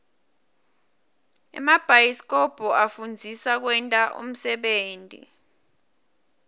emabhayisikobho afundzisa kwenta unsebenti